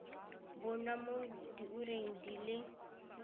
bonwa mo diureng di le